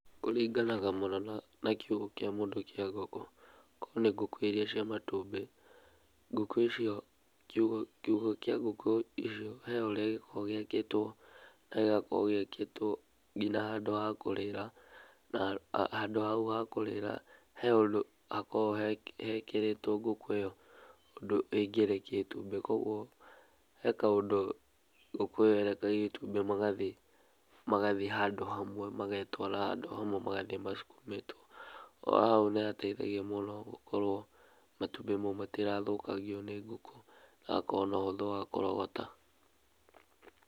Kũringanaga mũno na kiugo kĩa mũndũ kĩa ngũkũ, akorwo nĩ ngũkũ iria cia matumbĩ kiugo kĩa ngũkũ icio he ũrĩa gĩkoragwo gĩakĩtwo na gĩgakorwo gĩakĩtwo nginya handũ ha kũrĩra, na handũ hau ha kũrĩra he ũndũ hakoragwo hekĩrĩtwo ngũkũ ĩyo ũndũ ĩngĩrekia itumbĩ. Koguo he kaũndũ ngũkũ ĩyo ĩrekagia itumbĩ matumbĩ magathiĩ handũ hamwe, magetwara handũ hamwe magathiĩ macsukumĩtwo. O ho hau nĩhateithagia mũno gũkorwo matumbĩ mau matirathũkangio nĩ ngũkũ na hagakorwo na ũhũthũ wa kũrogota.